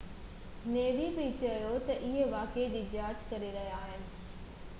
us نيوي بہ چيو تہ اهي واقعي جي جاچ ڪري رهيا آهن